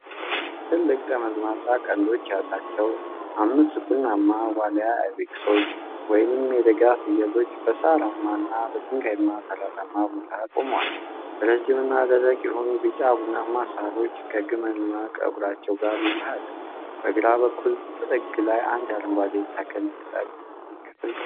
ትልልቅ ጠመዝማዛ ቀንዶች ያላቸው አምስት ቡናማ ዋልያ አይቤክሶች፣ ወይንም የደጋ ፍየሎች፣ በሳርማና በድንጋያማ ተራራማ ቦታ ላይ ይቆማሉ። ረዥምና ደረቅ የሆኑ ቢጫ-ቡናማ ሳሮች ከግመልማ ፀጉራቸው ጋር ይዋሃዳሉ። በግራ በኩል ጥግ ላይ የአንድ አረንጓዴ ተክል ቅጠል ክፍል ቀርቦ ይታያል።